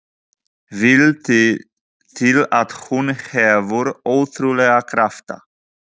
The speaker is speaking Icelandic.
Vill til að hún hefur ótrúlega krafta.